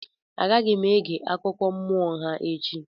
Agaghị m ege akụkọ mmụọ ha echi.